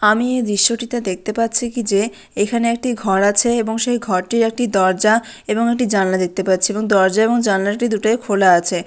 আমি দৃশ্যটিতে দেখতে পাচ্ছি কি যে এখানে একটি ঘর আছে এবং সেই ঘরটি একটি দরজা এবং একটি জানলা দেখতে পাচ্ছি এবং দরজা এবং জানালায় দুটোই খোলা আছে।